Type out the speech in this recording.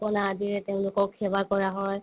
পিঠা-পনা আদিৰে তেওঁলোকক সেৱা কৰা হয়